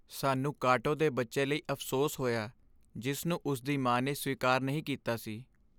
ਸਾਨੂੰ ਕਾਟੋ ਦੇ ਬੱਚੇ ਲਈ ਅਫ਼ਸੋਸ ਹੋਇਆ ਜਿਸ ਨੂੰ ਉਸ ਦੀ ਮਾਂ ਨੇ ਸਵੀਕਾਰ ਨਹੀਂ ਕੀਤਾ ਸੀ।